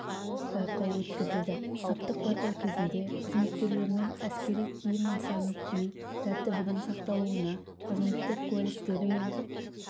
байқау өткізілді саптық байқау кезінде қызметкерлермен әскери киім нысанын кию тәртібінің сақталуына қызметтік куәліктері мен